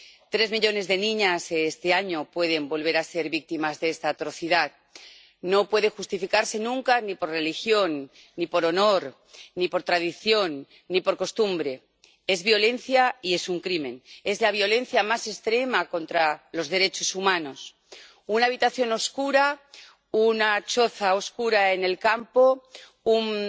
Este año tres millones de niñas pueden volver a ser víctimas de esta atrocidad. No puede justificarse nunca ni por religión ni por honor ni por tradición ni por costumbre. Es violencia y es un crimen. Es la violencia más extrema contra los derechos humanos. Una habitación oscura, una choza oscura en el campo,